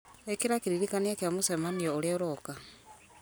ĩkĩra kĩririkania kĩa mũcemanio ũrĩa ũroka